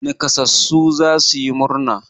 Naƙasassu za su yi murna.